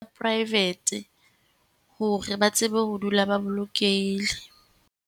Private hore ba tsebe ho dula ba bolokehile.